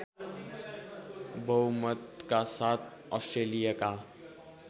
बहुमतका साथ अस्ट्रेलियाका